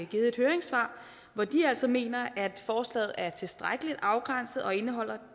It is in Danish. givet et høringssvar hvor de altså mener at forslaget er tilstrækkeligt afgrænset og indeholder